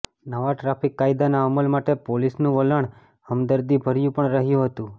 નવા ટ્રાફિક કાયદાના અમલ માટે પોલીસનું વલણ હમદર્દીભર્યું પણ રહ્યું હતું